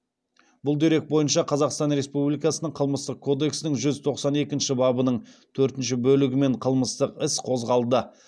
бұл дерек бойынша қазақстан республикасының қылмыстық кодексінің жүз тоқсан екінші бабының төртінші бөлігімен қылмыстық іс қозғалды